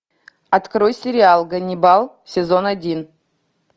открой сериал ганнибал сезон один